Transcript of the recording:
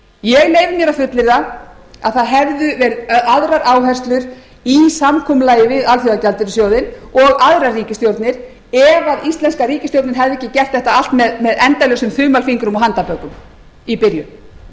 ég leyfi mér að fullyrða að það hefðu verið aðrar áherslur í samkomulagi við alþjóðagjaldeyrissjóðinn og aðrar ríkisstjórnir ef íslenska ríkisstjórnin hefði ekki gert þetta allt með endalausum þumalfingrum og handarbökum í byrjun